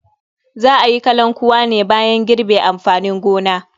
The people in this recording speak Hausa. Za a yi kalankuwa ne bayan girbe amfanin gona.